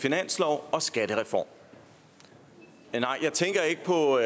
finanslov og skattereform jeg tænker ikke på